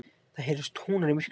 Það heyrast tónar í myrkrinu.